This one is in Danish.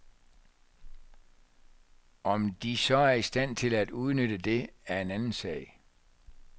Om de så er i stand til at udnytte det, er en anden sag.